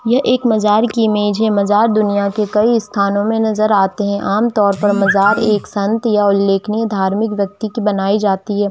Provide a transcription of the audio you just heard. यह एक मजार की इमेज है मजार दुनिया की कई स्थानो मे नजर आते है आम तौर पर मजार एक संत या उल्लेखनिय धार्मिक व्यक्ति की बनाई जाती है।